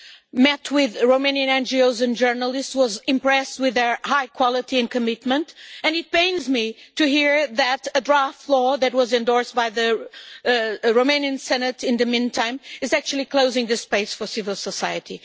I met with Romanian NGOs and journalists and was impressed with their high quality and commitment, and it pains me to hear that a draft law that was endorsed by the Romanian Senate in the meantime is actually closing the space for civil society.